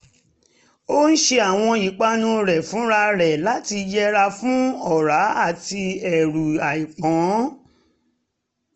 ó ń ṣe àwọn ìpanu rẹ̀ fúnra rẹ̀ láti yẹra fún ọ̀rá àti ẹrù àìpọn